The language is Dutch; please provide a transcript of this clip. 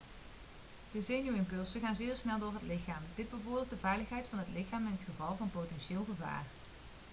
de zenuwimpulsen gaan zeer snel door het lichaam dit bevordert de veiligheid van het lichaam in het geval van potentieel gevaar